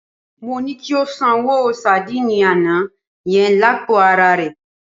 Mo ní kí o sanwó sadíìnì àná yẹn lápò araà rẹ.